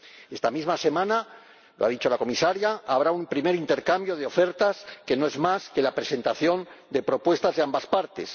Esta misma semana —lo ha dicho la Comisaria— habrá un primer intercambio de ofertas, que no es más que la presentación de propuestas de ambas partes.